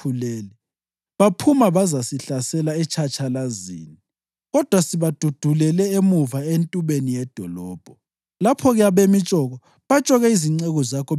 Isithunywa sathi kuDavida, “Abantu basikhulele, baphuma bazasihlasela etshatshalazini, kodwa sibadudulele emuva entubeni yedolobho.